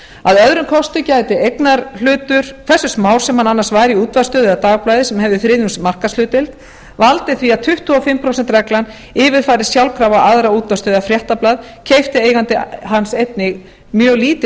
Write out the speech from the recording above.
að öðrum kosti gæti eignarhlutur hversu smár sem hann annars væri í útvarpsstöð eða dagblaði sem hefði þriðjungs markaðshlutdeild valdið því að tuttugu og fimm prósent reglan yfirfærist sjálfkrafa á aðra útvarpsstöð eða fréttablað keypti eigandi hans einnig mjög lítinn hlut